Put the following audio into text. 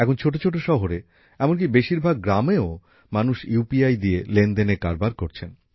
এখন ছোট ছোট শহরে এমনকি বেশিরভাগ গ্রামেও মানুষ ইউপিআই দিয়ে লেনদেনের কারবার করছেন